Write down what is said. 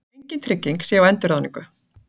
Engin trygging sé á endurráðningu